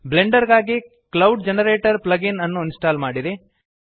Blender ಗಾಗಿ cloud generator plug in ಅನ್ನು install ಮಾಡಿರಿ